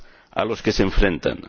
a los que se enfrentan.